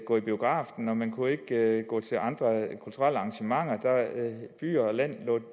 gå i biografen og man kunne ikke gå til andre kulturelle arrangementer by og land